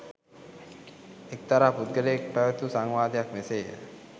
එක්තරා පුද්ගලයෙක් පැවැත් වූ සංවාදයක් මෙසේය.